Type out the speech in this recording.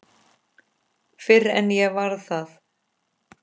Fyrr en ég varð það.